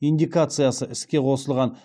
индикациясы іске қосылған